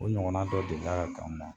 O ɲɔgɔnna dɔ delila ka k'anw na.